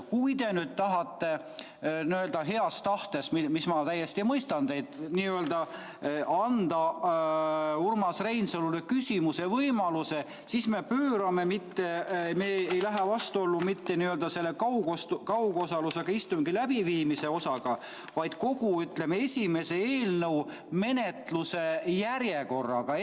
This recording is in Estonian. Kui te nüüd tahate n-ö heas tahtes, ma täiesti mõistan teid, anda Urmas Reinsalule küsimise võimaluse, siis me ei lähe vastuollu mitte kaugosalusega istungi läbiviimise osaga, vaid kogu, ütleme, esimese eelnõu menetluse järjekorraga.